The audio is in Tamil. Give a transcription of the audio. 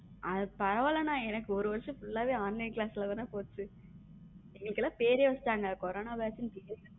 அது பரவால்ல அண்ணா எனக்கு ஒரு வருஷம full வே Online class தான போச்சு எங்களுக்கு எல்லாம் பேரே வச்சுட்டாங்க கொரோனா batch நு.